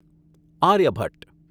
Aryabhata